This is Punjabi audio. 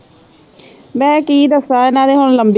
ਮੈਂ ਕੀ ਦੱਸਾਂ ਨਾਲੇ ਹੁਣ ਲੰਬੇ